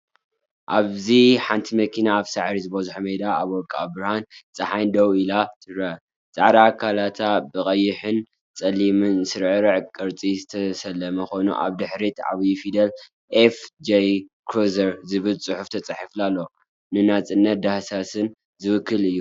ኣብዚ ሓንቲ መኪና ኣብ ሳዕሪ ዝበዝሖ ሜዳ ኣብ ወርቃዊ ብርሃን ጸሓይ ደው ኢላ ትረአ። ጻዕዳ ኣካላታ ብቐይሕን ጸሊምን ስርርዕ ቅርጺ ዝተሰለመ ኮይኑ፡ኣብ ድሕሪት ብዓበይቲ ፊደላት "ኤፍ.ጀይ ክሩዘር"ዝብል ጽሑፍ ተጻሒፉ ኣሎ። ንናጽነትን ዳህሳስን ዝውክል እዩ።